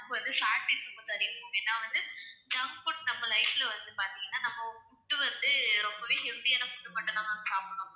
நமக்கு வந்து fat intake அதிகம் ma'am ஏன்னா வந்து junk food நம்ம life ல வந்து பாத்தீங்கன்னா வந்து food வந்துரொம்பவே healthy யான food மட்டும் தான் ma'am சாப்பிடணும்.